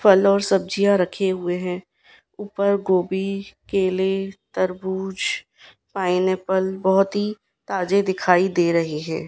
फल और सब्जियां रखे हुए हैं ऊपर गोभी केले तरबूज पाइनएप्पल बहोत ही ताजे दिखाई दे रहे है।